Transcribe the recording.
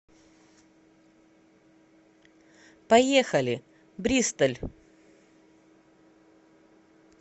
поехали бристоль